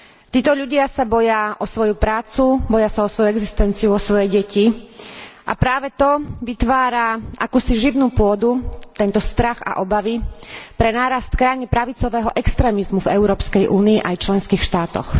Títo ľudia sa boja o svoju prácu, boja sa o svoju existenciu, o svoje deti a práve to vytvára akúsi živnú pôdu, tento strach a obavy, pre nárast krajne pravicového extrémizmu v Európskej únii aj v členských štátoch.